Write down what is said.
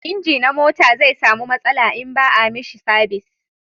inji na mota zai samu matsala in ba a mishi sabis